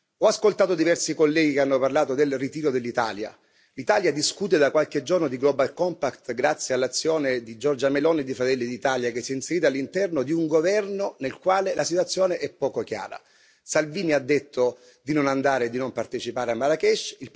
Ho ascoltato diversi colleghi che hanno parlato del ritiro dell'Italia l'Italia discute da qualche giorno di Global compact grazie all'azione di Giorgia Meloni di Fratelli d'Italia, che si è inserita all'interno di un governo nel quale la situazione è poco chiara Salvini ha detto di non andare e di non partecipare a Marrakech